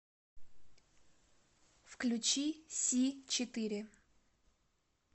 включи си четыре